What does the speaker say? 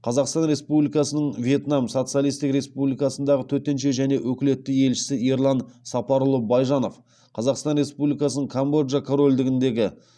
қазақстан республикасының вьетнам социалистік республикасындағы төтенше және өкілетті елшісі ерлан сапарұлы байжанов қазақстан республикасының камбоджа корольдігіндегі